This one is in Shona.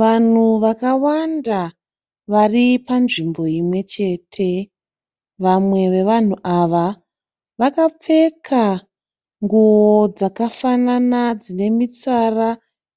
Vanhu vakawanda vari panzvimbo imwe chete. Vamwe vevanhu ava vakapfeka nguwo dzakafanana dzine mitsara